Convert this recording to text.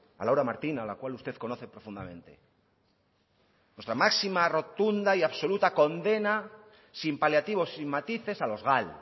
a laura martín a la cual usted conoce profundamente nuestra máxima rotunda y absoluta condena sin paliativos sin matices a los gal